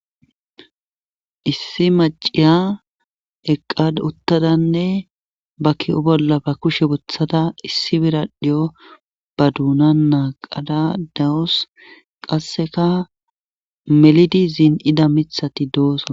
Issi maciya eqqad uttadanne ba ki7o bolla ba kushe bothada issi biradhiyo ba duuna naa qada dawos qasseka melidi zin ida mithati doosaa